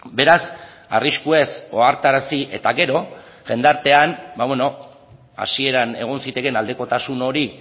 beraz arriskuez ohartarazi eta gero jendartean hasieran egon zitekeen aldekotasun hori